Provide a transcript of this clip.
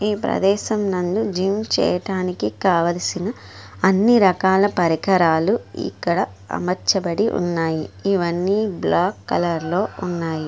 ఈ ప్రదేశం నందు జిమ్ చేయడానికి కావాల్సిన అన్ని రకాల పరికరాలు ఇక్కడ అమర్చబడి ఉన్నాయి. ఇవన్నీ బ్లాక్ కలర్ లో ఉన్నాయి.